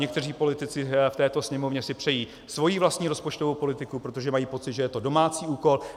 Někteří politici v této Sněmovně si přejí svoji vlastní rozpočtovou politiku, protože mají pocit, že to je domácí úkol.